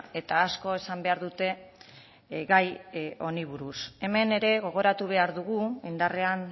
eta asko esan behar dute gai honi buruz hemen ere gogoratu behar dugu indarrean